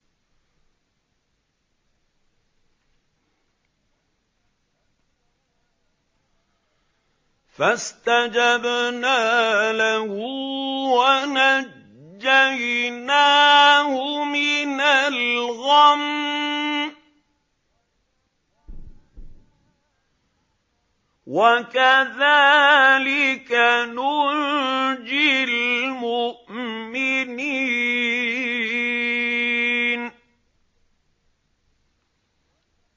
فَاسْتَجَبْنَا لَهُ وَنَجَّيْنَاهُ مِنَ الْغَمِّ ۚ وَكَذَٰلِكَ نُنجِي الْمُؤْمِنِينَ